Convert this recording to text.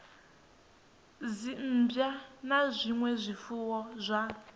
dzimmbwa na zwinwe zwifuwo zwa